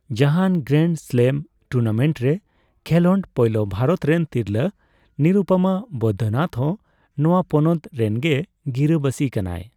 ᱡᱟᱦᱟᱱ grand slam tournament ᱨᱮ ᱠᱷᱮᱞᱳᱰ ᱯᱳᱭᱞᱳ ᱵᱷᱟᱨᱚᱛ ᱨᱮᱱ ᱛᱤᱨᱞᱟᱹ ᱱᱤᱨᱩᱯᱚᱢᱟ ᱵᱚᱹᱫᱽᱫᱚᱱᱟᱛᱷ ᱦᱚᱸ ᱱᱚᱣᱟ ᱯᱚᱱᱚᱛ ᱨᱮᱱᱜᱮ ᱜᱤᱨᱟᱹᱵᱟᱥᱤ ᱠᱟᱱᱟᱭ᱾